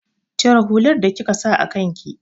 Cire hular da kika sa a kan ki!